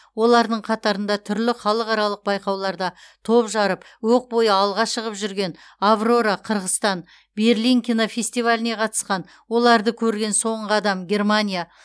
олардың қатарында түрлі халықаралық байқауларда топ жарып оқ бойы алға шығып жүрген аврора қырғызстан берлин кинофестиваліне қатысқан оларды көрген соңғы адам германия